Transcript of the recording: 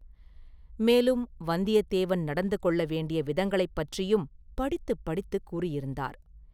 மேலும் வந்தியத்தேவன் நடந்து கொள்ள வேண்டியவிதங்களைப் பற்றியும் படித்துப் படித்துக் கூறியிருந்தார்.